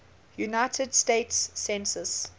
united states census